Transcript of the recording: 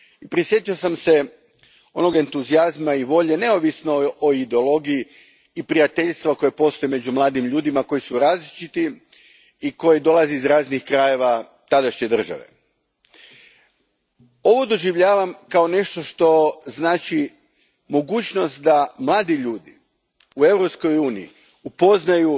Prijetio sam se onoga entuzijazma i volje, neovisno o ideologiji, i prijateljstava koja postoje među mladim ljudima koji su različiti i koji su dolazili iz raznih krajeva tadašnje države. Ovo doživljavam kao nešto što daje mogućnost da mladi ljudi u Europskoj uniji upoznaju